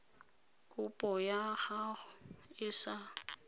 kopo ya gago e sa